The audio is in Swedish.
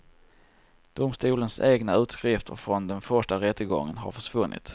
Domstolens egna utskrifter från den första rättegången har försvunnit.